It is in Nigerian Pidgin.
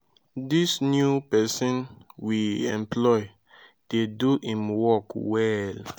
dis new person we employ dey do im work well